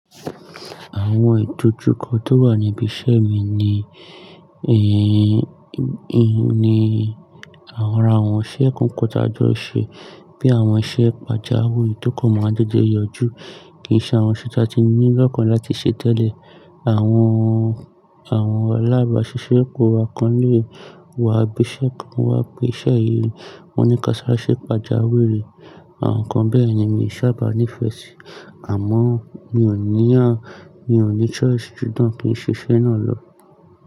Àwọn ìdojúkọ tó wà ní ibi iṣẹ́ mi ni, i ni ara àwọn iṣẹ́ kọ̀ọ̀kan tá jọ ńṣe, bí àwọn iṣẹ́ pàjáwì tó kàn máa ń déédéé yọjú. Kì í ṣe àwọn iṣẹ́ tí a ti ní l'ọ́kàn láti ṣe tẹ́lẹ̀. Àwọn, alábàáṣiṣẹ́pò wa kan náà wọn á gbé iṣẹ́ kan wá pé iṣẹ́ yìí, wọ́n ní ká sáré ṣe pàjáwìrì. Àwọn nǹkan bẹ́ẹ̀ ni mi ò sábà ní ìfẹ́ sí, àmọ́ mi ò ní yàn, mi ò ní choice ju tán kí n ṣe iṣẹ́ náà lọ.